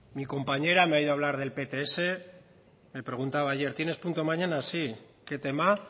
mi compañera me ha oído hablar del pts me preguntaba ayer tienes punto mañana sí qué tema